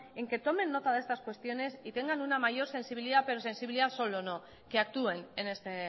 en que tomen nota de estas cuestiones y tengan una mayor sensibilidad pero sensibilidad solo no que actúen en este